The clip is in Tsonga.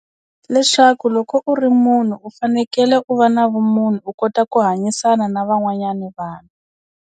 Leswaku loko u ri munhu u fanekele u va na vumunhu u kota ku hanyisana na van'wanyana vanhu.